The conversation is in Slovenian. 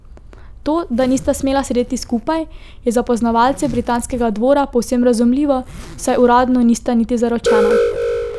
To, da nista smela sedeti skupaj, je za poznavalce britanskega dvora povsem razumljivo, saj uradno nista niti zaročena.